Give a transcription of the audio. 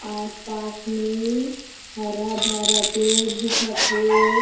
आस-पास में हरा-भरा पेड़ दिखत हे।